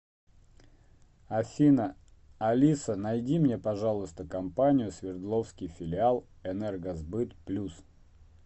афина алиса найди мне пожалуйста компанию свердловский филиал энергосбыт плюс